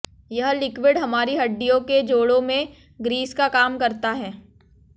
यह लिक्विड हमारी हडि्डयों के जोड़ों में ग्रीस का काम करता है